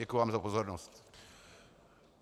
Děkuji vám za pozornost.